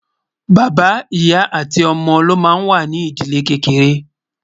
bàbá, ìyá àti ómó ló má ń wà nì ídìlé kékeré